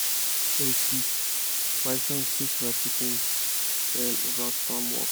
i da use song teach my song teach my pikin dem about farm work